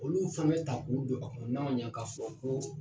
Olu fɛnɛ ta ko o don a kɔnɔ n'a man ɲɛ ka fɔ ko.